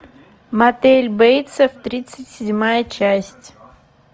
мотель бейтсов тридцать седьмая часть